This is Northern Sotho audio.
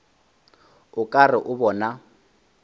o ka re o bona